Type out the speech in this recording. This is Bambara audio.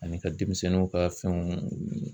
Ani ka denmisɛnninw ka fɛnw